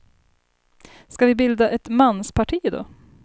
Ska vi bilda ett mansparti då?